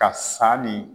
Ka sanni